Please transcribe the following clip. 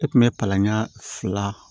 E kun be palan ɲɛ fila